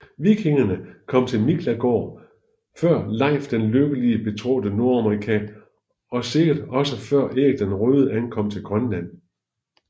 Vikingerne kom til Miklagård før Leif den Lykkelige betrådte Nordamerika og sikkert også før Erik den Røde ankom til Grønland